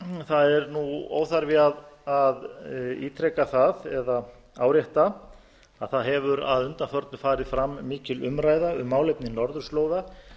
það er óþarfi að ítreka það eða árétta að það hefur að undanförnu farið fram mikil umræða um málefni norðurslóða